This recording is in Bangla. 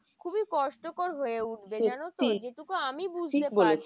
খুবই কষ্ট কর হয়ে উঠবে জানতো? যেটুকু আমি বুজতে পারছি।